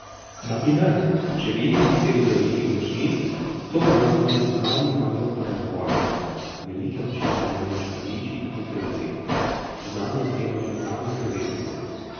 Na primer, če vidimo osebo z velikimi očmi, to v nas vzbudi naravni nagon po negovanju, velike oči imajo namreč mladiči in otroci, zanje je treba tudi najbolj skrbeti.